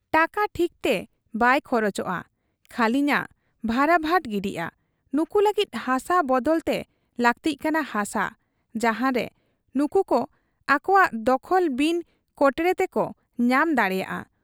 ᱴᱟᱠᱟ ᱴᱷᱤᱠᱛᱮ ᱵᱟᱭ ᱠᱷᱚᱨᱚᱪᱚᱜ ᱟ, ᱠᱷᱟᱹᱞᱤᱱᱷᱟᱜ ᱵᱷᱟᱨᱟᱵᱷᱟᱴ ᱜᱤᱰᱤᱜ ᱟ ᱾ ᱱᱩᱠᱩ ᱞᱟᱹᱜᱤᱫ ᱦᱟᱥᱟ ᱵᱟᱫᱟᱞᱛᱮ ᱞᱟᱹᱠᱛᱤᱜ ᱠᱟᱱᱟ ᱦᱟᱥᱟ, ᱡᱟᱦᱟᱱᱨᱮ ᱱᱩᱠᱩᱠᱚ ᱟᱠᱚᱣᱟᱜ ᱫᱚᱠᱷᱚᱞ ᱵᱤᱱ ᱠᱚᱴᱬᱮ ᱛᱮᱠᱚ ᱧᱟᱢ ᱫᱟᱲᱮᱭᱟᱜ ᱟ ᱾